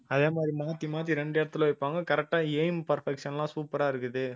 அதே மாதிரி மாத்தி மாத்தி ரெண்டு இடத்துல வைப்பாங்க correct ஆ aim perfection லாம் super ஆ இருக்குது